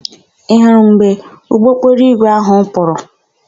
Ị hụrụ mgbe ụgbọokporoigwe áhụ̀ pụrụ?